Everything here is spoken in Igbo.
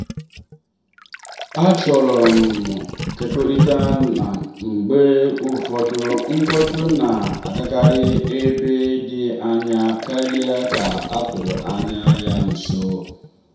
achọrọ m ịkekọrịta na mgbe ụfọdụ mkpọtụ na-agakarị ebe dị anya karịa ka a tụrụ anya ya nso.